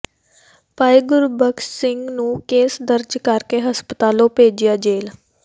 ਭਾਈ ਗੁਰਬਖਸ਼ ਸਿੰਘ ਨੂੰ ਕੇਸ ਦਰਜ ਕਰਕੇ ਹਸਪਤਾਲੋਂ ਭੇਜਿਆ ਜੇਲ੍ਹ